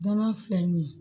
Danaya filɛ nin ye